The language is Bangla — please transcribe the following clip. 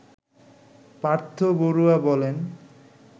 পার্থ বড়ুয়া বলেন